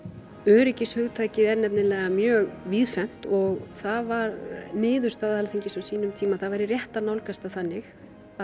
öryggishugtakið er nefnilega mjög víðfeðmt og það var niðurstaða Alþingis á sínum tíma að það væri rétt að nálgast það þannig að